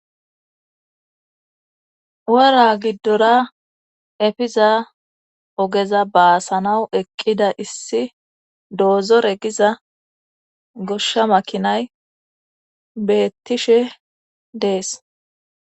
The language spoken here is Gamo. wara giddora efiza ogeza baasanawu eqqida issi doozore giza goshsha makinay beettishe dees